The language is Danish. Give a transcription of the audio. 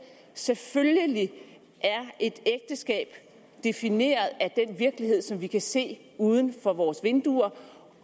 selvfølgelig er et ægteskab defineret af virkelighed som vi kan se uden for vores vinduer